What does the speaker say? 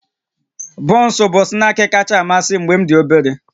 Bọnsụ bụ snaakị kacha amasị m mgbe m dị obere